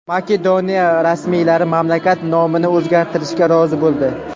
Makedoniya rasmiylari mamlakat nomini o‘zgartirishga rozi bo‘ldi.